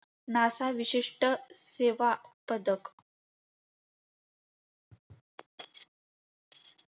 NASA विशिष्ट सेवा पदक.